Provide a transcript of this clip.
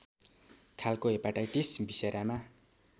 खालको हेपाटाइटिस भिसेरामा